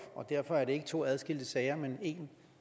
derfor er det ikke to adskilte sager men én